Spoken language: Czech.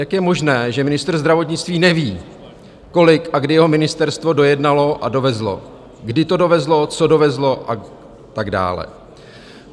Jak je možné, že ministr zdravotnictví neví, kolik a kdy jeho ministerstvo dojednalo a dovezlo, kdy to dovezlo, co dovezlo a tak dále?